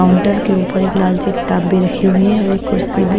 counter के ऊपर एक लाल सी किताब भी रखी हुई है और एक कुर्सी भी--